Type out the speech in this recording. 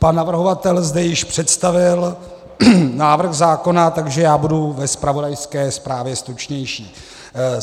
Pan navrhovatel zde již představil návrh zákona, takže já budu ve zpravodajské zprávě stručnější.